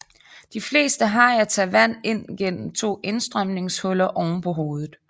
De fleste hajer tager vand ind gennem to indstrømningshuller ovenpå hovedet